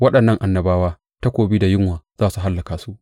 Waɗannan annabawa takobi da yunwa za su hallaka su.